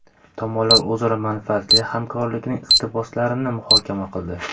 Tomonlar o‘zaro manfaatli hamkorlikning istiqbollarini muhokama qildi.